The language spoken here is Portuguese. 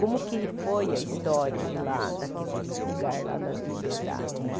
Como que foi a história de lá, daquele lugar lá da Liberdade, né?